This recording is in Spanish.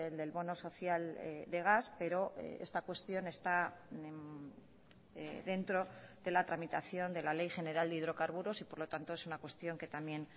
del bono social de gas pero esta cuestión está dentro de la tramitación de la ley general de hidrocarburos y por lo tanto es una cuestión que también